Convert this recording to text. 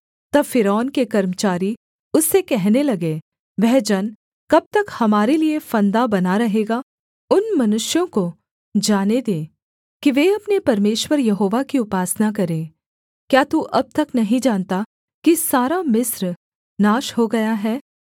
तब फ़िरौन के कर्मचारी उससे कहने लगे वह जन कब तक हमारे लिये फंदा बना रहेगा उन मनुष्यों को जाने दे कि वे अपने परमेश्वर यहोवा की उपासना करें क्या तू अब तक नहीं जानता कि सारा मिस्र नाश हो गया है